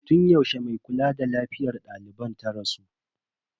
Tun yaushe mai kula da lafiyar daliban ta rasu?